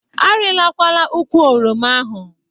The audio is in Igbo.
Arịlakwala ukwụ oroma ahụ.